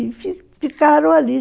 E fi ficaram ali.